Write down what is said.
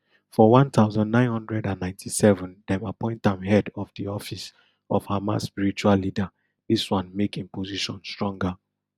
for one thousand, nine hundred and ninety-seven dem appoint am head of di office of hamas spiritual leader dis one make im position stronger